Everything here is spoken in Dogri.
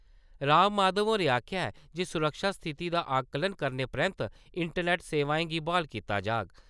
राम माधव होरें आखेआ ऐ जे सुरक्षा स्थिति दा आकलन करने परैन्त इंटरनेट सेवाएं गी ब्हाल कीता जाग।